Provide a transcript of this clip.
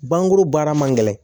Bangu baara man gɛlɛn